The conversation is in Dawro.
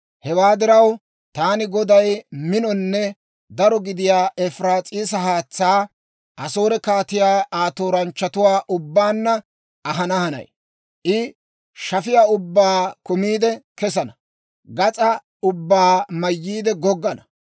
Hewaa diraw, taani Goday minonne daro gidiyaa Efiraas'iisa haatsaa, Asoore kaatiyaa Aa tooranchchatuwaa ubbaanna ahana hanay. I shafiyaa ubbaa kumiide kesana; gas'aa ubbaa mayyiide goggana.